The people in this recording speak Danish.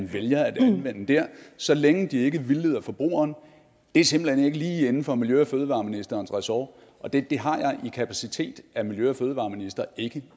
vælger at anvende så længe de ikke vildleder forbrugeren er simpelt hen ikke lige inden for miljø og fødevareministerens ressort og det har jeg i kapacitet af miljø og fødevareminister ikke